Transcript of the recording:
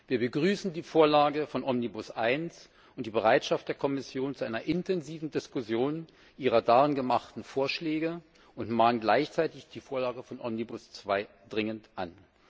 Wir begrüßen die Vorlage von Omnibus1 und die Bereitschaft der Kommission zu einer intensiven Diskussion ihrer darin gemachten Vorschläge und mahnen gleichzeitig die Vorlage von Omnibus2 dringend an.